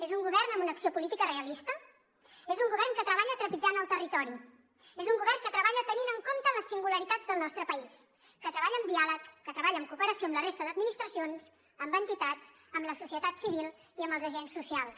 és un govern amb una acció política realista és un govern que treballa trepitjant el territori és un govern que treballa tenint en compte les singularitats del nostre país que treballa amb diàleg que treballa en cooperació amb la resta d’administracions amb entitats amb la societat civil i amb els agents socials